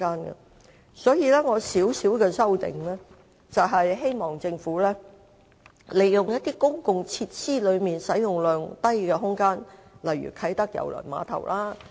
我就議案作出輕微修正，就是希望政府能好好利用公共設施內使用量低的空間，例如啟德郵輪碼頭。